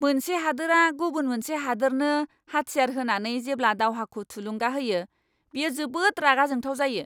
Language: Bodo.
मोनसे हादोरा गुबुन मोनसे हादोरनो हाथियार होनानै जेब्ला दावहाखौ थुलुंगा होयो, बेयो जोबोद रागा जोंथाव जायो!